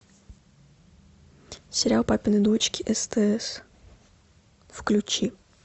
сериал папины дочки стс включи